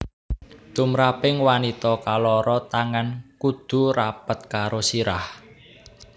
Tumraping wanita kaloro tangan kudu rapet karo sirah